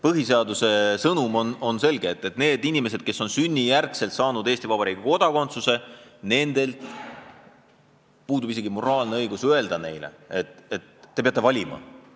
Põhiseaduse sõnum on selge: kui inimesed on sünnijärgselt saanud Eesti Vabariigi kodakondsuse, siis riigil puudub isegi moraalne õigus neile öelda, et te peate valima.